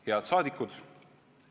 Head saadikud!